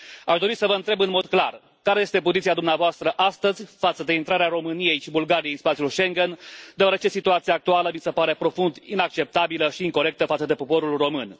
Aș dori să vă întreb în mod clar care este poziția dumneavoastră astăzi față de intrarea României și Bulgariei în spațiul Schengen, deoarece situația actuală mi se pare profund inacceptabilă și incorectă față de poporul român.